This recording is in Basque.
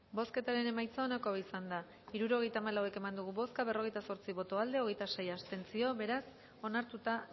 bozketaren emaitza onako izan da hirurogeita hamalau eman dugu bozka berrogeita zortzi boto aldekoa hogeita sei abstentzio beraz onartuta